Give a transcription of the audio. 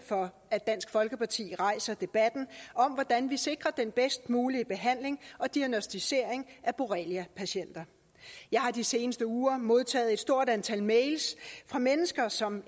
for at dansk folkeparti rejser debatten om hvordan vi sikrer den bedst mulige behandling og diagnosticering af borreliapatienter jeg har de seneste uger modtaget et stort antal mails fra mennesker som